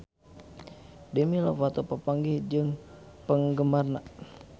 Demi Lovato papanggih jeung penggemarna